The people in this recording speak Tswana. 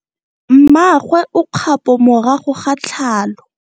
Mmagwe o kgapo morago ga tlhalo.